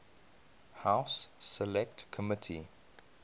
house select committee